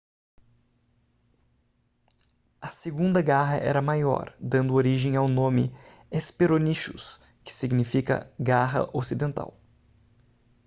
a segunda garra era maior dando origem ao nome hesperonychus que significa garra ocidental